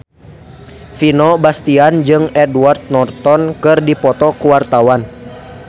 Vino Bastian jeung Edward Norton keur dipoto ku wartawan